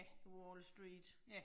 The Wall Street